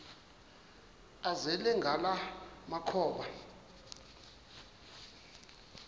azele ngala makhaba